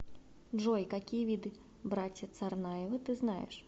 джой какие виды братья царнаевы ты знаешь